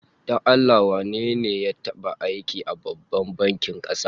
Don Allah wane ne ya taba aiki a Babban bankin kasa?